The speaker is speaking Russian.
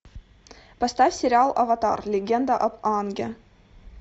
поставь сериал аватар легенда об аанге